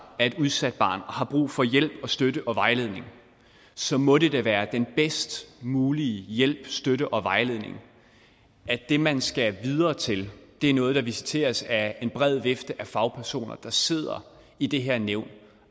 er et udsat barn og har brug for hjælp støtte og vejledning så må det da være den bedst mulige hjælp støtte og vejledning at det man skal videre til er noget der visiteres af en bred vifte af fagpersoner der sidder i det her nævn